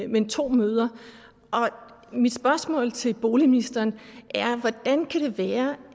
men to møder og mit spørgsmål til boligministeren er hvordan kan det være